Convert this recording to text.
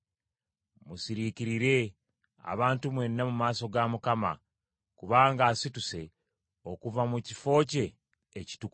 Musiriikirire, abantu mwenna mu maaso ga Mukama , kubanga asituse okuva mu kifo kye ekitukuvu.”